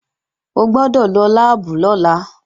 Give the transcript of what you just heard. O gbọ́dọ̀ lọ láàbù lọ́la!